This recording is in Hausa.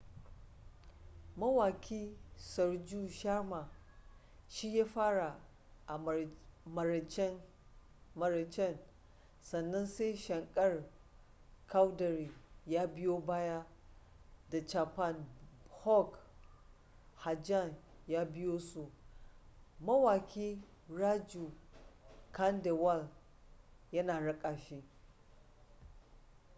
mawaki sarju sharma shi ya fara a maraicen sannan sai shankar choudhary ya biyo baya da chhappan bhog bhajan ya biyo su mawaki raju khandelwal yana raka shi